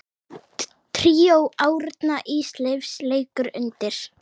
Tríó Árna Ísleifs leikur undir.